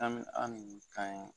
An bi an